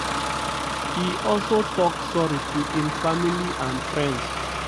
e also tok sorry to im family and friends.